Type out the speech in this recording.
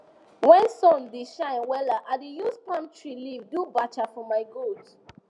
when sun da shine wella i da use palm tree leave do bacha for my goat